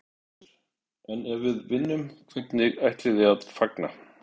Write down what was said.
Þórhildur: En ef við vinnum, hvernig ætlið þið að fagna?